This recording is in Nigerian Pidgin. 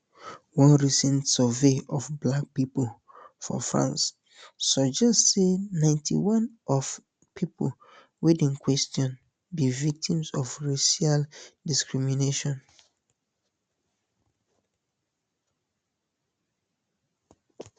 one recent survey of black pipo for france suggest say ninety-one of pipo wey dem question be victims of racial discrimination